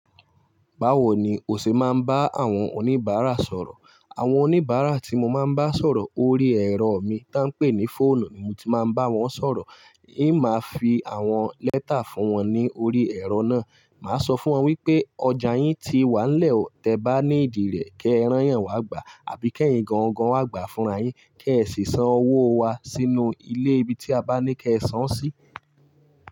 Báwo ni o ṣe máa ń bá àwọn oníbàárà sọ̀rọ̀? Àwọn oníbàárà tí mo máa ń bá sọ̀rọ̀ ori ẹ̀rọ mi tá ń pè ní fóònù ni mo ti máa ń bá wọn sọ̀rọ̀. Ì máa fi àwọn lẹ́tà fún wọn ní ori ẹ̀rọ náà. Màá sọ fún wọn wípé ọjà yín ti wà nílẹ̀, tẹ bá needí rẹ kí ẹ rán yàn wá gbà àbí kẹ́yìn gangan wá gbà fúnra yín. Kí ẹ sì san owó wa sínú ilé ibi tí a bá ní kí ẹ san sí.